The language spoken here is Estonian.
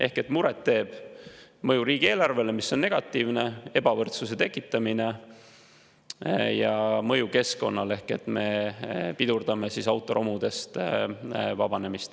Nii et muret teeb mõju riigieelarvele, mis on negatiivne, ebavõrdsuse tekitamine ja mõju keskkonnale, sest me pidurdame autoromudest vabanemist.